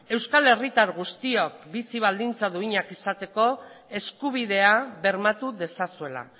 euskal herritar guztiok bizi baldintza duinak izateko eskubidea bermatu dezazuela